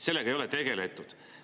Sellega ei ole tegeletud.